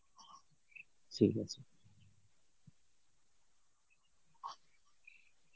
ঠিক আছে.